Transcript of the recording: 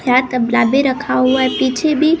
क्या कपला भी रखा हुआ है पीछे भी--